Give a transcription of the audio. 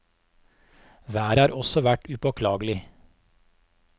Været har også vært upåklagelig.